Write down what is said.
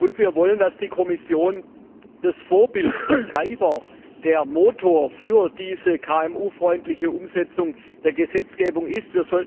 Und wir wollen, dass die Kommission das Vorbild, der Antreiber, der Motor für diese KMU freundliche Umsetzung der Gesetzgebung ist.